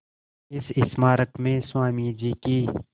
इस स्मारक में स्वामी जी की